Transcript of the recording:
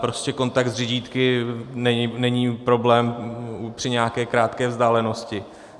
Prostě kontakt s řidítky není problém při nějaké krátké vzdálenosti.